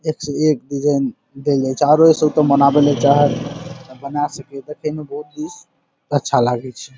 एक से एक डिज़ाइन देल जाइ छे आरो एसो तो मनावे ला चाही त मना सके। त कहींनो अच्छा लागै छे।